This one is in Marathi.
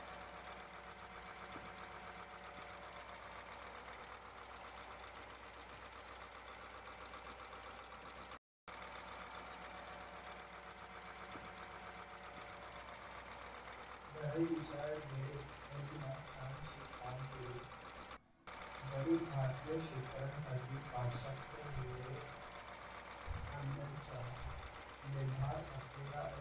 variety च्या छानशी कामगिरी जरी भारतीय शेतकऱ्यासाठी पाश्यचात्य मुलीने आणलेच्या निरधार असलेला एक